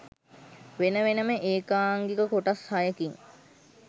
වෙන වෙනම ඒකාංගික කොටස් හයකින්